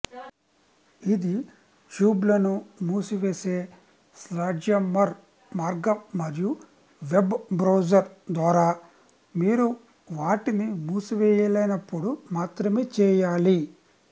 ఇది ట్యాబ్లను మూసివేసే స్లాడ్జ్హమ్మర్ మార్గం మరియు వెబ్ బ్రౌజర్ ద్వారా మీరు వాటిని మూసివేయలేనప్పుడు మాత్రమే చేయాలి